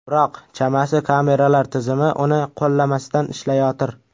Biroq, chamasi kameralar tizimi uni qo‘llamasdan ishlayotir.